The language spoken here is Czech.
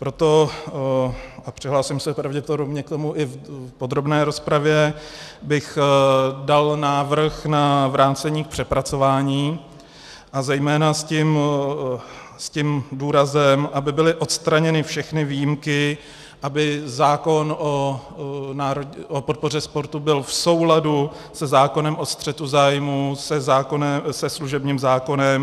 Proto, a přihlásím se pravděpodobně k tomu i v podrobné rozpravě, bych dal návrh na vrácení k přepracování, a zejména s tím důrazem, aby byly odstraněny všechny výjimky, aby zákon o podpoře sportu byl v souladu se zákonem o střetu zájmů, se služebním zákonem.